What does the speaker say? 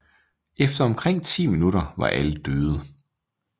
Efter omkring ti minutter var alle døde